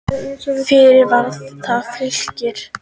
Fyrst var það Fylkir.